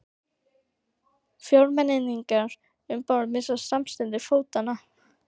Fjórmenningarnir um borð misstu samstundis fótanna.